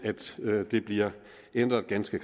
at det bliver ændret ganske